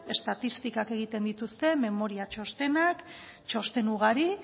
estatistikak egiten dituzte memoria txostenak txosten ugari